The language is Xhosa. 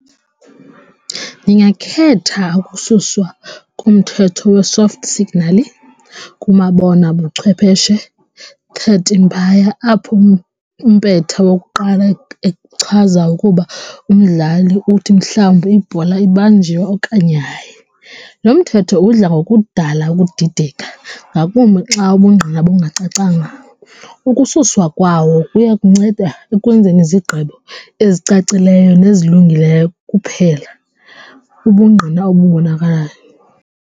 Ndingakhetha ukususwa kumthetho we-soft signal kumabonakude buchwepheshe apho umpetha wokuqala echaza ukuba umdlali uthi mhlawumbi ibhola ibanjiwe okanye hayi. Lo mthetho udla ngokudala ukudideka ngakumbi xa ubungqina bungacacanga, ukususwa kwawo kuya kunceda ekwenzeni zigqibo ezicacileyo nezilungileyo kuphela ubungqina obubonakalayo.